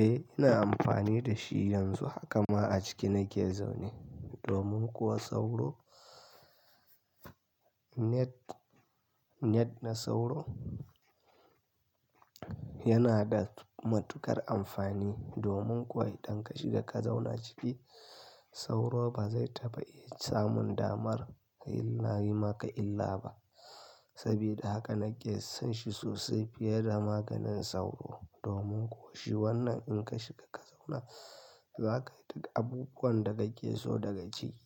Eh ina amfani da shi yanzu haka ma a ciki nake zaune. Domin kuwa sauro, net, net na sauro yana da matuƙar amfani domin kuwa idan ka shiga ka zauna ciki sauro ba zai taɓa iya samun damar yi maka illa ba. Sabida haka nake son shi sosai fiye da maganin sauro domin kuwa shi wannan in ka shiga ka zauna za kai duk abubuwan da kake so daga ciki.